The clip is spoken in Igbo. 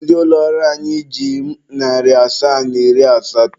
Ndị ụlọ ọrụ anyị ji m narị asaa na iri asatọ.